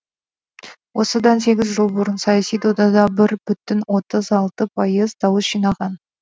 осыдан сегіз жыл бұрын саяси додада бір бүтін отыз алты пайыз дауыс жинаған